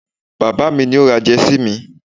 baba mi ni o ra Jersey mi